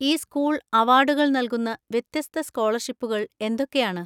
ഈ സ്കൂൾ അവാർഡുകൾ നൽകുന്ന വ്യത്യസ്ത സ്കോളർഷിപ്പുകൾ എന്തൊക്കെയാണ്?